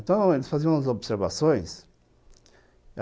Então, eles faziam umas observações.